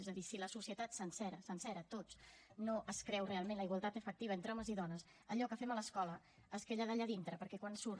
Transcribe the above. és a dir si la societat sencera sencera tots no es creu realment la igualtat efectiva entre homes i dones allò que fem a l’escola es queda allà dintre perquè quan surt